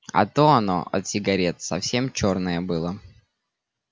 а то оно от сигарет совсем чёрное было